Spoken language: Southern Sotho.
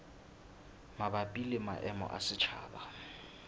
mabapi le maemo a setjhaba